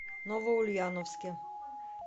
новоульяновске